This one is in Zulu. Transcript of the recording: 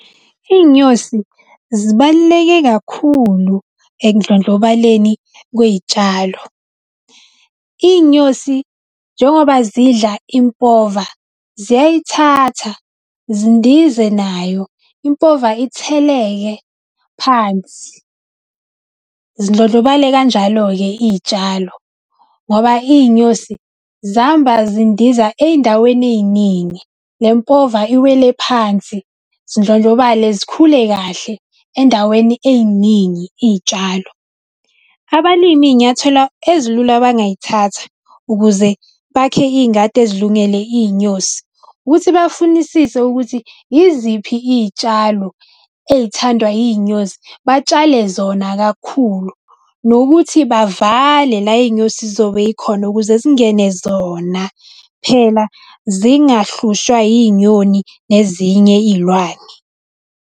Iy'nyosi zibaluleke kakhulu ekundlondlobaleni kwey'tshalo. Iy'nyosi njengoba zidla impova, ziyayithatha zindize nayo. Impova itheleke phansi zindlondlobale kanjalo-ke iy'tshalo ngoba iy'nyosi zihamba zindiza eyindaweni eyiningi, le mpova iwele phansi zidlondlobale zikhule kahle endaweni eyiningi iy'tshalo. Abalimi iy'nyathelo ezilula abangayithatha ukuze bakhe iy'ngadi ezilungele iy'nyosi, ukuthi bafunisise ukuthi iziphi iy'tshalo ey'thandwa yiy'nyosi. Batshale zona kakhulu nokuthi bavale la, iy'nyosi zizobe zikhona ukuze zingene zona. Phela zingahlushwa iy'nyoni nezinye iy'lwane.